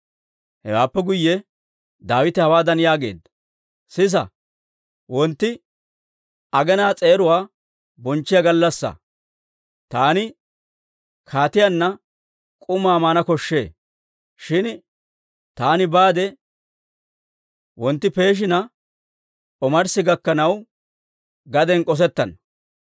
Hewaappe guyye Daawite hawaadan yaageedda; «Sisa, wontti aginaa s'eeruwaa bonchchiyaa gallassaa; taani kaatiyaanna k'umaa maana koshshee. Shin taani baade wontti peeshina omarssi gakkanaw, gaden k'osettana.